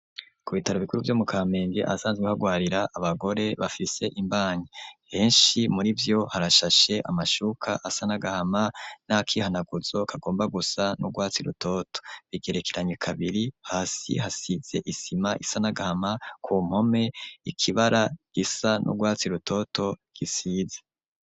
Ku bitaro ibikuru, vyo mu Kamenge, ahasanzwe harwarira abagore, bafise imbanyi, henshi muri vyo, harashashe amashuka asa n'agahama, n'akihanaguzo, kagomba gusa n'urwatsi rutoto; bigerekeranye kabiri, hasi hasize isima isa n'agahama, ku mpome, ikibara gisa n'urwatsi rutoto, gisize.